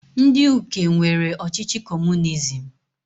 Ndị Uke nwere ọchịchị comunizim.